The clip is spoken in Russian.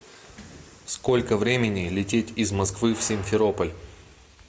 сколько времени лететь из москвы в симферополь